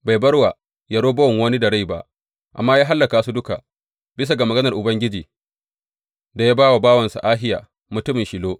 Bai bar wa Yerobowam wani da rai ba, amma ya hallaka su duka, bisa ga maganar Ubangiji da ya ba wa bawansa Ahiya, mutumin Shilo.